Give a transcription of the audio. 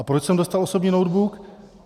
A proč jsem dostal osobní notebook?